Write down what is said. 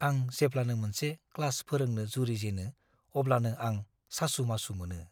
आं जेब्लानो मोनसे क्लास फोरोंनो जुरिजेनो अब्लानो आं सासु-मासु मोनो।